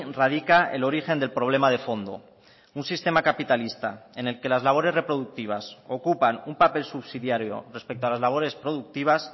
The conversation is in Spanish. radica el origen del problema de fondo un sistema capitalista en el que las labores reproductivas ocupan un papel subsidiario respecto a las labores productivas